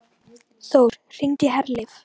Þór, hringdu í Herleif.